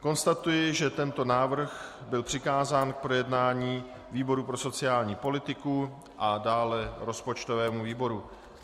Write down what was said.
Konstatuji, že tento návrh byl přikázán k projednání výboru pro sociální politiku a dále rozpočtovému výboru.